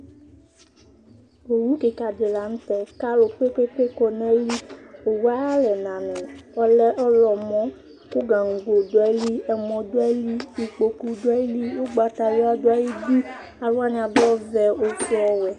owu keka di lantɛ k'alo kpekpekpe kɔ n'ayili owue ayi alɛna ni ɔlɛ ɔwlɔmɔ kò gaŋgo do ayili amɔ do ayili ikpoku do ayili ugbata wla do ayili alowani ado ɔvɛ ofue ɔwɛ